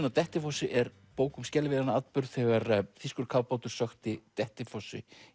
á Dettifossi er bók um skelfilegan atburð þegar þýskur kafbátur sökkti Dettifossi